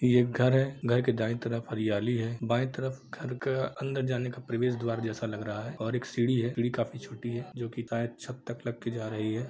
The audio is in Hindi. यह एक घर है घर के दायी तरफ हरियाली है बायी तरफ घर के अंदर जाने का प्रवेश द्वार जैसा लग रहा है और एक सीढ़ी है सीढ़ी काफी छोटी है जो की शायद छत तक लग के जा रही है।